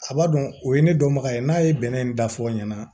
A b'a dɔn o ye ne dɔnbaga ye n'a ye bɛnɛ da fɔ ɲɛna